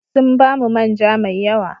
Sun ba mu man ja mai yawa.